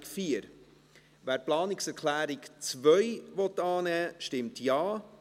Wer die Planungserklärung 2 annehmen will, stimmt Ja,